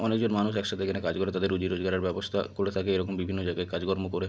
অনকে জন মানু একসঙ্গে কাজ করে। তাদের রুজি রোজগারে ব্যাবস্থা করে থাকে এবং এই রকম বিভিন্ন জায়গায় কাজ কর্ম করে।